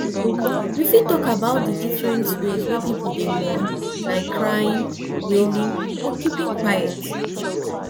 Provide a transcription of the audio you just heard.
you fit talk about di different ways wey people dey mourn like crying wailing or keeping quiet